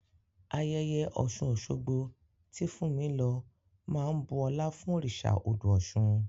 Ayẹyẹ Ọ̀ṣun-Ọ̀ṣogbo, tí Fúnmi lọ, máa ń bu ọlá fún òrìṣà odò Ọ̀ṣun.